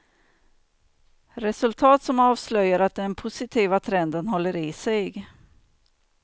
Resultat som avslöjar att den positiva trenden håller i sig.